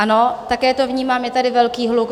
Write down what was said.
Ano, také to vnímám, je tady velký hluk.